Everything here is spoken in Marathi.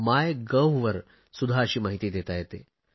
माय गव्हवर सुध्दा अशी माहिती देता येते